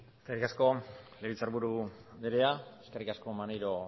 eskerrik asko legebiltzarburu andrea eskerrik asko maneiro